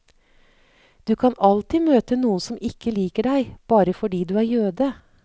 Du kan alltid møte noen som ikke liker deg, bare fordi du er jøde.